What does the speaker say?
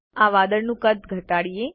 આ વાદળનું કદ ઘટાડીએ